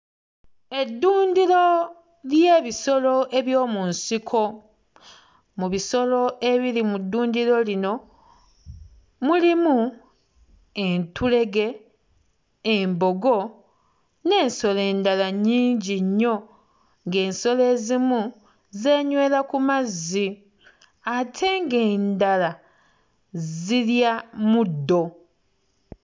Eddundiro ly'ebisolo eby'omu nsiko. Mu bisolo ebiri mu ddundiro lino mulimu entulege, embogo n'ensolo endala nnyingi nnyo, ng'ensolo ezimu zeenywera ku mazzi ate ng'endala zirya muddo.